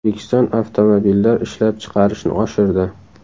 O‘zbekiston avtomobillar ishlab chiqarishni oshirdi.